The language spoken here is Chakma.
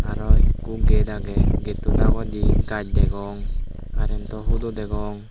araw ekko get agey getto dagedi gaz degong karentto hudo degong.